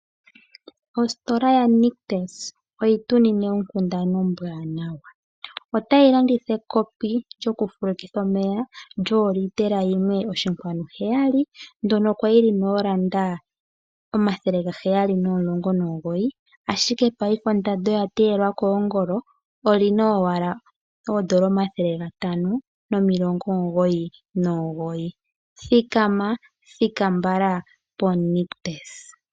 Ositola yaNictus oyi tu nine onkundana ombwaanawa. Otayi landitha ekopi lyokufulukitha omeya lyooliitela 1.7, ndyono kwa li li na N$719, ashike paife ondando oya teyelwa koongolo. Oli na owalaN$599. Thikana, thika mbala poNictus.